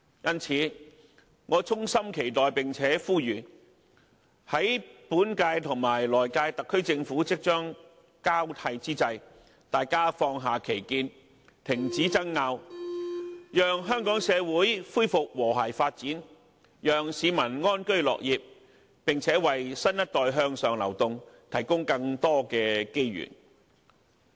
因此，我衷心期待並且呼籲，在本屆及來屆特區政府即將交替之際，大家能放下歧見，停止爭拗，讓香港社會恢復和諧發展，讓市民安居樂業，並且為新一代向上流動，提供更多機遇。